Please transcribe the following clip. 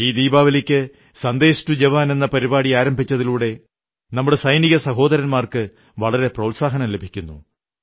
ഈ ദീപാവലിക്ക് സന്ദേശ് ടു ജവാൻ എന്ന പരിപാടി ആരംഭിച്ചതിലൂടെ നമ്മുടെ സൈനിക സഹോദരന്മാർക്ക് വളരെ പ്രോത്സാഹനം ലഭിക്കുന്നു